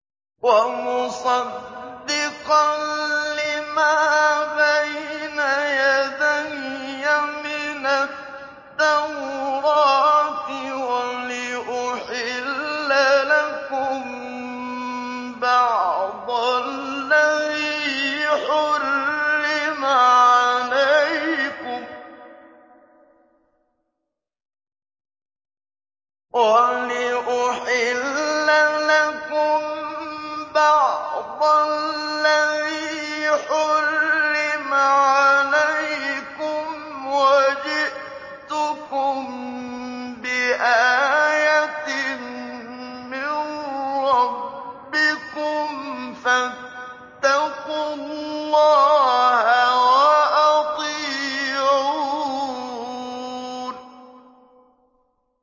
وَمُصَدِّقًا لِّمَا بَيْنَ يَدَيَّ مِنَ التَّوْرَاةِ وَلِأُحِلَّ لَكُم بَعْضَ الَّذِي حُرِّمَ عَلَيْكُمْ ۚ وَجِئْتُكُم بِآيَةٍ مِّن رَّبِّكُمْ فَاتَّقُوا اللَّهَ وَأَطِيعُونِ